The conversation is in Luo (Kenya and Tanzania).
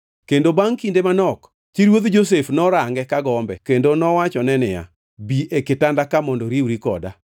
Kendo bangʼ kinde manok, chi ruodh Josef norange kagombe kendo nowachone niya, “Bi e kitanda ka mondo iriwri koda.”